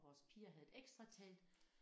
Vores piger havde et ekstra telt